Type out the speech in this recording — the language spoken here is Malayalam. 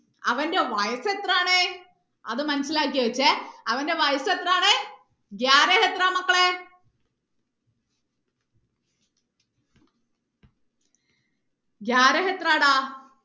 അവന്റെ വയസ് എത്രയാണ് അത് മനസിലാക്കി വെച്ചേ അവന്റെ വയസ് എത്രയാണ് എത്ര മക്കളെ എത്ര ഡാ